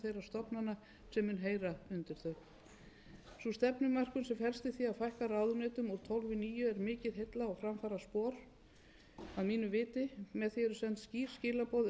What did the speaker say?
stofnana sem munu heyra undir þau sú stefnumörkun sem felst i því að fækka ráðuneytum úr tólf í níu er mikið heilla og framfaraspor að mínu viti með því eru send skýr skilaboð